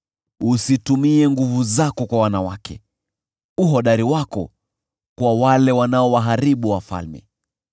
Usitumie nguvu zako kwa wanawake, uhodari wako kwa wale wanaowaharibu wafalme.